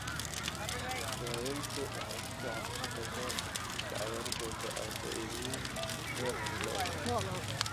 Daaweyntu waxay si fiican u shaqeysaa marka cagaarshowga autoimmune goor hore la ogaado.